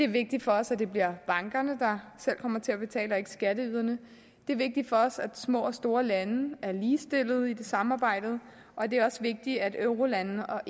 vigtigt for os at det bliver bankerne der selv kommer til at betale og ikke skatteyderne det er vigtigt for os at små og store lande er ligestillede i samarbejdet og det er også vigtigt at eurolande og